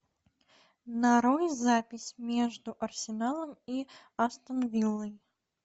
нарой запись между арсеналом и астон виллой